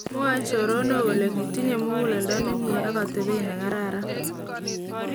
Mwoe choronok kole kitinye muguleldo nemie ak atebet nekararan.